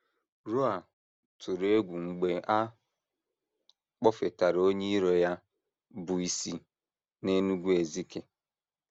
Raoul tụrụ egwu mgbe a kpọfetara onye iro ya bụ́ isi n’Enugu-Ezike.